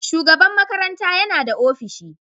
Shugaban makaranta yana da ofishi.